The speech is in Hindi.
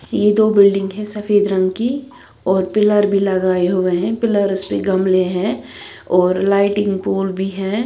ये दो बिल्डिंग है सफेद रंग की और पिलर भी लगाए हुए हैं पिलर्स के गमले हैं और लाइटिंग पोल भी है।